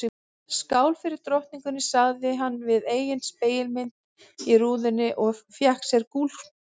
Skál fyrir drottningunni sagði hann við eigin spegilmynd í rúðunni og fékk sér gúlsopa.